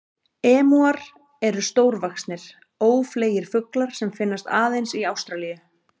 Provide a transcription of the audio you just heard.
Emúar eru stórvaxnir, ófleygir fuglar sem finnast aðeins í Ástralíu.